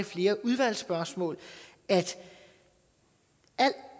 flere udvalgsspørgsmål at al